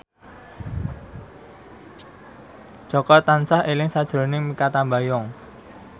Jaka tansah eling sakjroning Mikha Tambayong